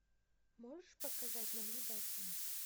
можешь показать наблюдатели